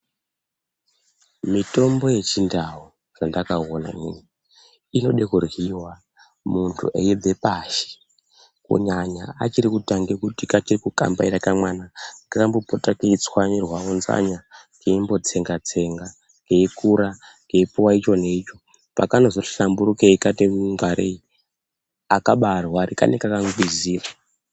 Mitombo yechindau chandakaona inini inode kuryiwa muntu eibva pashi. Kunyanya achiri kutange kukambaira kamwana kanombopota keitswanyirwa munzanaya keimbotsenga-tsenga. Keikura keipuwa icho neicho. Pakanozoti hlamburukei kati ngwarei akabaarwari, kanenge kakangwingwizira.